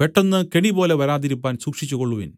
പെട്ടെന്ന് കെണി പോലെ വരാതിരിപ്പാൻ സൂക്ഷിച്ചു കൊൾവിൻ